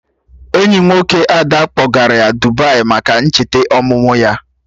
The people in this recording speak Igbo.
Enyi nwoke Ada kpọgara ya Dubai maka ncheta ọmụmụ ya